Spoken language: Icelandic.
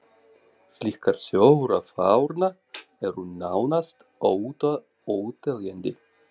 Slíkar sögur af Árna eru nánast óteljandi.